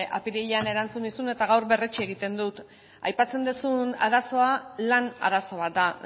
apirilean erantzun nizun eta gaur berretsi egiten dut aipatzen duzun arazoa lan arazo bat da